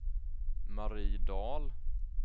Marie Dahl